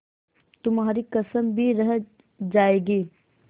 तुम्हारी कसम भी रह जाएगी